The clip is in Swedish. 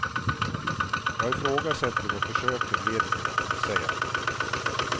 Jag ifrågasätter vad försöken leder till, säger han.